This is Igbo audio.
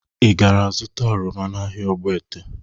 Ị gara zụta oroma n'ahịa Ogbete?